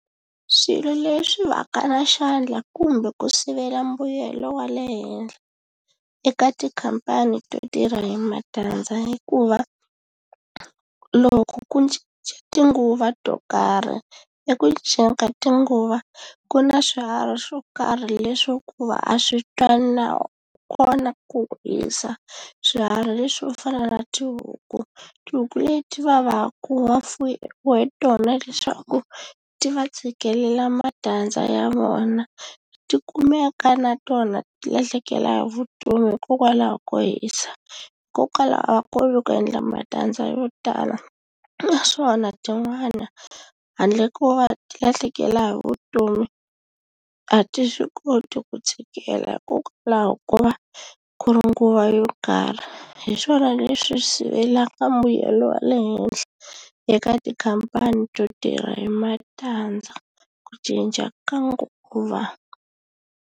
Swilo leswi va ka na xandla kumbe ku sivela mbuyelo wa le henhla eka tikhampani to tirha hi matandza hikuva loko ku cinca tinguva to karhi eku cinceni ka tinguva ku na swiharhi swo karhi leswi hikuva a swi twani na kona ku hisa swiharhi leswi swo fana na tihuku tihuku leti va vaka va fuwe tona leswaku ti va tshikelela matandza ya vona ti kumeka na tona ti lahlekela hi vutomi hikokwalaho ko hisa hikokwalaho ko va ku endla matandza yo tala naswona tin'wana handle ko va ti lahlekela hi vutomi a ti swi koti ku tshikela hikokwalaho ko va ku ri nguva yo karhi hi swona leswi sivelaka mbuyelo wa le henhla eka tikhampani to tirha hi matandza ku cinca ka nguva.